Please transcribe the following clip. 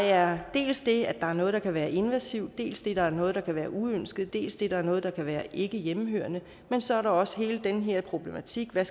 er dels det at der er noget der kan være invasivt dels det at der er noget der kan være uønsket dels det at der er noget der kan være ikke hjemmehørende men så er der også hele den her problematik med